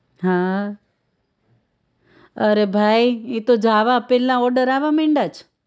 હા અરે ભાઈ ઈ તો જાવા પેલા order આવા મંડ્યા છે